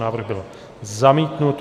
Návrh byl zamítnut.